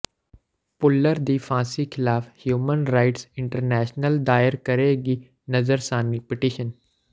ਭੁੱਲਰ ਦੀ ਫ਼ਾਂਸੀ ਖ਼ਿਲਾਫ਼ ਹਿਊਮਨ ਰਾਈਟਸ ਇੰਟਰਨੈਸ਼ਨਲ ਦਾਇਰ ਕਰੇਗੀ ਨਜ਼ਰਸਾਨੀ ਪਟੀਸ਼ਨ